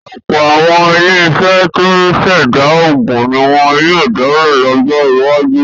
Ọ̀pọ̀ àwọn iléeṣẹ́ tó ń ṣẹ̀dá oògùn ní wọ́n yóò dálẹ̀ lọ́jọ́ iwájú.